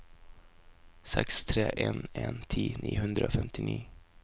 seks tre en en ti ni hundre og femtini